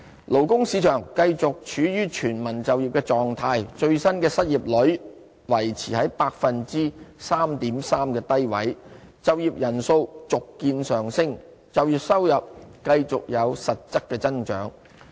勞工市場繼續處於全民就業的狀態，最新的失業率維持在 3.3% 的低位，就業人數續見上升，就業收入繼續有實質增長。